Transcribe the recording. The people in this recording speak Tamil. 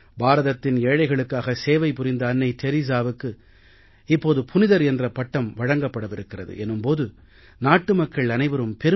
பாரதத்தின் ஏழைகளுக்காக சேவை புரிந்த அன்னை தெரஸாவுக்கு இப்போது புனிதர் என்ற பட்டம் வழங்கப்படவிருக்கிறது என்னும் போது நாட்டு மக்கள் அனைவரும் பெருமிதம்